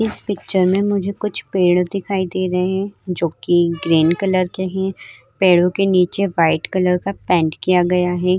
इस पिक्चर में मुझे कुछ पेड़ दिखाए दे रहे हैं जो कि ग्रीन कलर के हैं। पेड़ों के नीचे व्हाइट कलर का पैन्ट किया गया हैं।